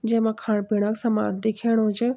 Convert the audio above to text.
जैमा खाण पिणा क समान दिखेणु च।